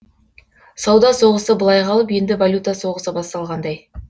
сауда соғысы былай қалып енді валюта соғысы басталғандай